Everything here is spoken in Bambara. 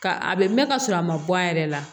Ka a bɛ mɛn ka sɔrɔ a ma bɔ a yɛrɛ la